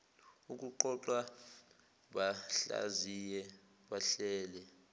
ukuqoqa bahlaziye bahlele